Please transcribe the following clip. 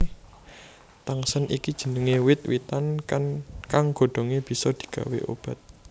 Tangsen iki jenengé wit witan kang godhongé bisa digawé obat